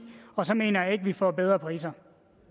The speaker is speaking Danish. og så mener jeg ikke at vi får bedre priser